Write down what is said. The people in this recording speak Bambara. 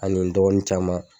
Ani n dɔgɔnin caman.